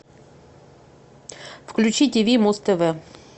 включи тв муз тв